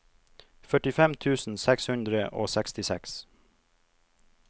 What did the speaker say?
førtifem tusen seks hundre og sekstiseks